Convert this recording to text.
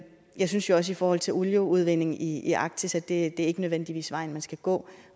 jeg synes jo også i forhold til olieudvinding i i arktis at det ikke nødvendigvis er vejen man skal gå